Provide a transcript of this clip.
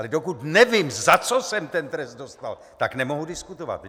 Ale dokud nevím, za co jsem ten trest dostal, tak nemohu diskutovat.